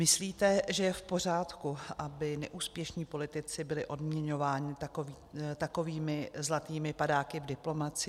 Myslíte, že je v pořádku, aby neúspěšní politici byli odměňováni takovými zlatými padáky v diplomacii?